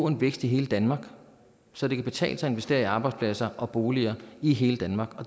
en vækst i hele danmark så det kan betale sig at investere i arbejdspladser og boliger i hele danmark